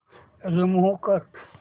remove कर